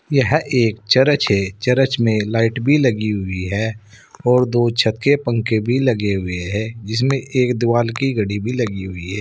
यह एक चरच है। चरच में लाइट भी लगी हुई है और दो छत के पंखे भी लगे हुए है जिसमें एक दीवाल की घड़ी भी लगी हुई है।